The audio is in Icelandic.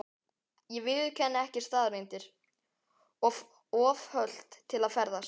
Ég viðurkenni ekki staðreyndir: of hölt til að ferðast.